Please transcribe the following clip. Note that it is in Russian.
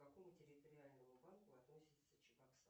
к какому территориальному банку относятся чебоксары